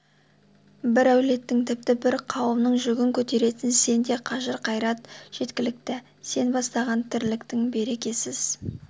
бір әулеттің тіпті бір кауымның жүгін көтеретін сенде қажыр қайрат жеткілікті сен бастаган тірліктің берекесіз